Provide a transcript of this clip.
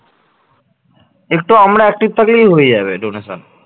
একটু আমরা active থাকলেই হয়ে যাবে donation